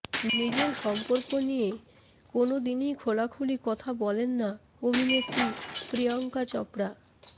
নিজের সম্পর্কে নিয়ে কোনওদিনই খোলাখুলি কথা বলেন না অভিনেত্রী প্রিয়ঙ্কা চোপড়া